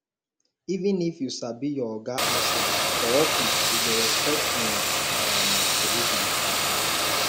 even if you sabi your oga outside for office you go respect im um position um